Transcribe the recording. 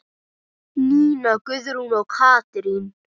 Nína Guðrún og Katrín.